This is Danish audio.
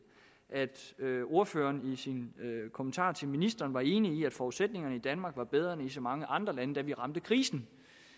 at ordføreren i sin kommentar til ministeren var enig i at forudsætningerne i danmark var bedre end i så mange andre lande da vi ramte krisen